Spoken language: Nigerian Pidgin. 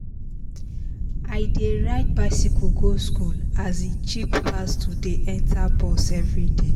i dey ride bicycle go school as e cheap pass to dey enter bus everyday